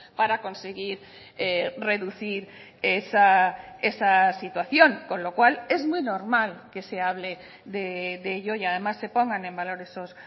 para conseguir reducir esa situación con lo cual es muy normal que se hable de ello y además se pongan en valor esos